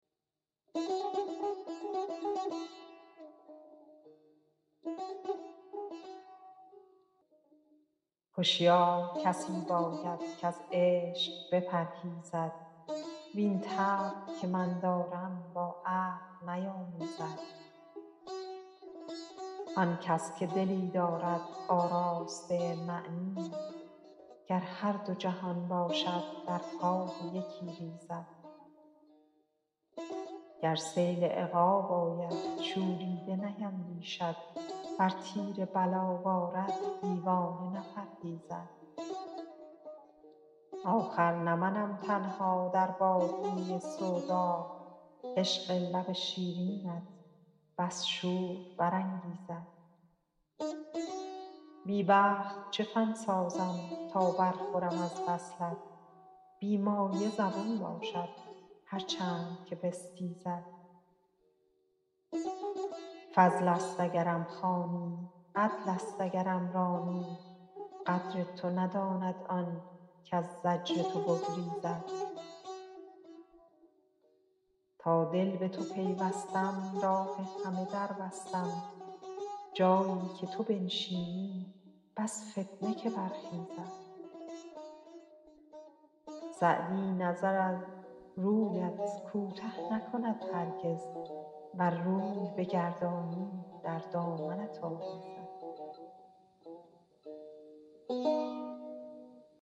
هشیار کسی باید کز عشق بپرهیزد وین طبع که من دارم با عقل نیامیزد آن کس که دلی دارد آراسته معنی گر هر دو جهان باشد در پای یکی ریزد گر سیل عقاب آید شوریده نیندیشد ور تیر بلا بارد دیوانه نپرهیزد آخر نه منم تنها در بادیه سودا عشق لب شیرینت بس شور برانگیزد بی بخت چه فن سازم تا برخورم از وصلت بی مایه زبون باشد هر چند که بستیزد فضل است اگرم خوانی عدل است اگرم رانی قدر تو نداند آن کز زجر تو بگریزد تا دل به تو پیوستم راه همه در بستم جایی که تو بنشینی بس فتنه که برخیزد سعدی نظر از رویت کوته نکند هرگز ور روی بگردانی در دامنت آویزد